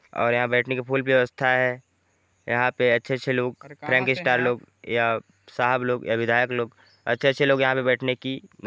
और बैठने का फुल व्यवस्था हैं यहाँ पे अच्छे-अच्छे लोग स्टार लोग या साहब लोग या विधायक लोग अच्छे-अच्छे लोग यहाँ पे बैठने की--